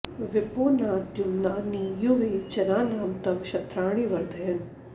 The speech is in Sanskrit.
विपो न द्युम्ना नि युवे जनानां तव क्षत्राणि वर्धयन्